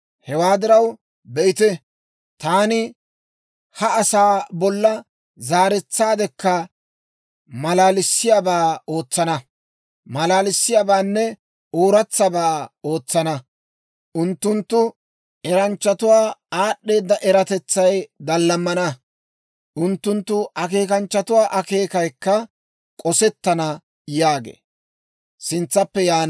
Hewaa diraw, be'ite, taani ha asaa bolla zaaretsaadekka maalalissiyaabaa ootsana; maalaaliyaabaanne ooratsabaa ootsana. Unttunttu eranchchatuwaa aad'd'eeda eratetsay daallamana; unttunttu akeekanchchatuwaa akeekayikka k'osettana» yaageedda.